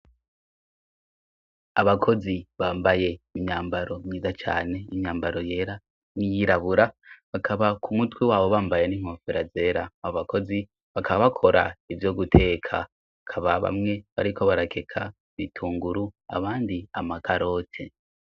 Abakozi bambaye imyambaro myiza cane, imyambaro yera n'iyirabura. Bakaba ku mutwe wabo bambaye n'inkofero zera. Abakozi bakaba bakora ivyo guteka, bakaba bamwe bariko barakeka ibitunguru abandi amakarote.